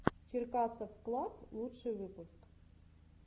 черкасовклаб лучший выпуск